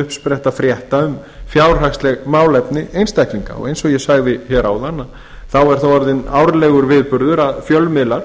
uppspretta frétta um fjárhagsleg málefni einstaklinga og eins og ég sagði hér áðan þá er það orðinn árlegur viðburður að fjölmiðlar